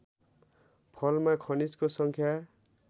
फलमा खनिजको सङ्ख्या